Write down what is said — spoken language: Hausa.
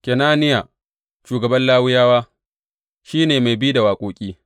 Kenaniya, shugaban Lawiyawa, shi ne mai bi da waƙoƙi.